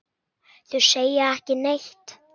Þú segir ekki neitt.